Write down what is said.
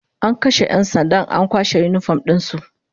An kashe 'yan sandan an kwashe yinifom din su